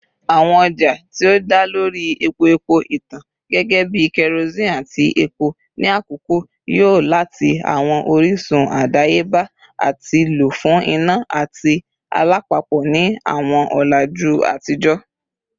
Awọn ọja ti o da lori epo-epo itan gẹgẹbi kerosene ati epo ni akọkọ yo lati awọn orisun adayeba ati lo fun ina ati alapapo ni awọn ọlaju atijọ.